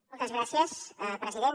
moltes gràcies president